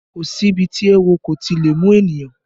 Kò si ibi tí oówo kò ti lè mú ènìyàn